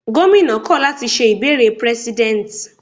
Gómìnà kọ̀ láti ṣe ìbéèrè prẹ́sídẹ̀nt